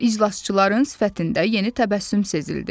İclasçıların sifətində yeni təbəssüm sezildi.